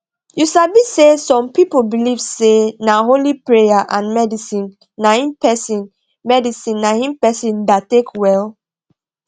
u sabi say some people believe say na only praya and medicine naim persin medicine naim persin da take welll